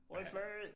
Rødt flag!